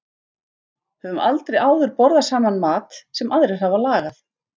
Höfum aldrei áður borðað saman mat sem aðrir hafa lagað.